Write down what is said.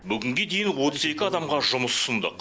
бүгінге дейін отыз екі адамға жұмыс ұсындық